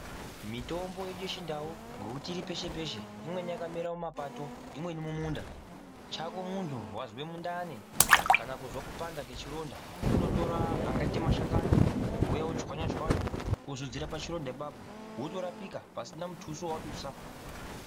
Mitombo yedu yeChiNdau ngokuti iri peshe-peshe, imweni yakamera mumapato, imweni mumunda. Chako muntu wazwe mundani kana kuzwe kupanda kwechironda, kundotora angaite mashakani wouya wochwanya-chwanya wozodzera pachironda ipapo, wotorapika pasina mutuso wawadusa.